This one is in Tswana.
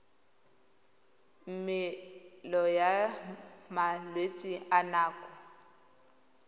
melemo ya malwetse a nako